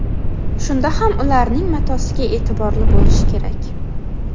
Shunda ham ularning matosiga e’tiborli bo‘lish kerak.